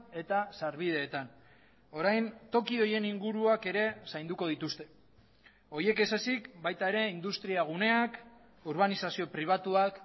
eta sarbideetan orain toki horien inguruak ere zainduko dituzte horiek ez ezik baita ere industria guneak urbanizazio pribatuak